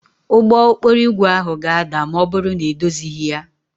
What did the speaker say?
Ụgbọ okporo ígwè ahụ ga-ada ma ọ bụrụ na edozighị ya